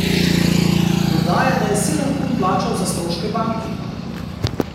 Dodaja, da je sedem kun plačal za stroške banki.